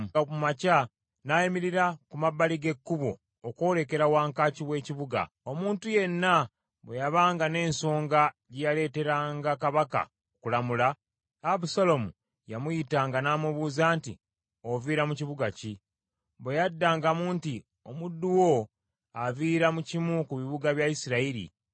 Yagolokokanga mu makya n’ayimirira ku mabbali g’ekkubo okwolekera wankaaki w’ekibuga. Omuntu yenna bwe yabanga n’ensonga gye yaleeteranga kabaka okulamula, Abusaalomu yamuyitanga n’amubuuza nti, “Oviira mu kibuga ki?” Bwe yaddangamu nti, “Omuddu wo aviira mu kimu ku bika bya Isirayiri,”